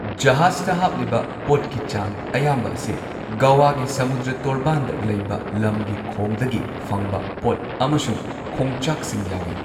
ꯖꯍꯥꯖꯇ ꯍꯥꯞꯂꯤꯕ ꯄꯣꯠꯀꯤ ꯆꯥꯡ ꯑꯌꯥꯝꯕ ꯑꯁꯤ ꯒꯣꯋꯥꯒꯤ ꯁꯃꯨꯗ꯭ꯔ ꯇꯣꯔꯕꯥꯟꯗ ꯂꯩꯕ ꯂꯝꯒꯤ ꯈꯣꯡꯗꯒꯤ ꯐꯪꯕ ꯄꯣꯠ ꯑꯃꯁꯨꯡ ꯈꯣꯡꯆꯥꯛꯁꯤꯡ ꯌꯥꯎꯏ꯫